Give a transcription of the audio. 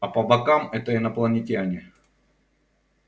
а по бокам это инопланетяне